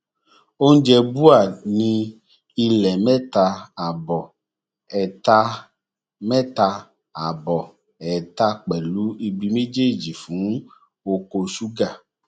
oúnjẹ bua ní ilẹ mẹta àbọ ẹẹtà mẹta àbọ ẹẹtà pẹlú ibi méjèèjì fún oko ṣúgà